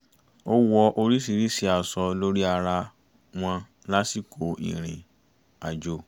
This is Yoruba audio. ó wọ oríṣiríṣi aṣọ lórí ara wọn lásìkò ìrìn-àjò